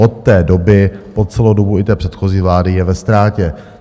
Od té doby po celou dobu i té předchozí vlády je ve ztrátě.